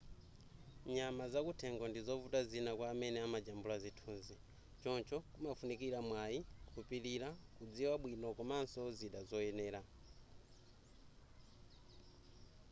nyama zakuthengo ndizovuta zina kwa amene amajambula zithunzi choncho kumafunikira mwayi kupilira kudziwa bwino komanso zida zoyenera